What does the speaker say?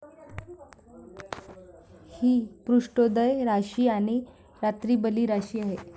हि पृष्ठोदय राशी आणि रात्रीबली राशी आहे.